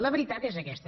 la veritat és aquesta